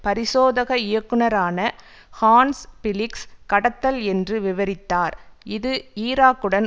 பரிசோதக இயக்குனரான Hans Blix கடத்தல் என்று விவரித்தார் இது ஈராக்குடன்